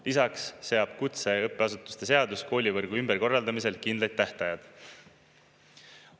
Lisaks seab kutseõppeasutuste seadus koolivõrgu ümberkorraldamisel kindlaid tähtajad.